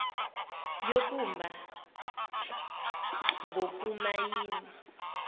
yokumba ngoku mayina